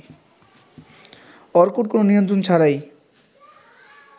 Orkut কোন নিমন্ত্রণ ছাড়াই